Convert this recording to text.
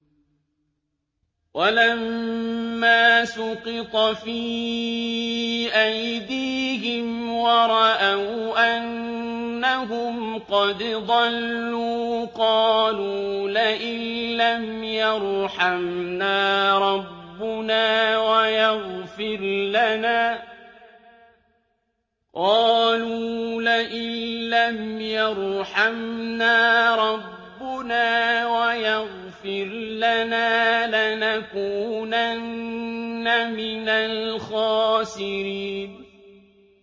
وَلَمَّا سُقِطَ فِي أَيْدِيهِمْ وَرَأَوْا أَنَّهُمْ قَدْ ضَلُّوا قَالُوا لَئِن لَّمْ يَرْحَمْنَا رَبُّنَا وَيَغْفِرْ لَنَا لَنَكُونَنَّ مِنَ الْخَاسِرِينَ